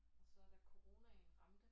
Og så da coronaen ramte